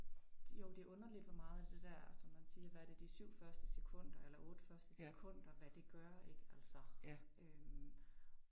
Jo det underligt hvor meget af det der som man siger hvad er det de syv første sekunder eller otte første sekunder hvad det gør ik, altså øh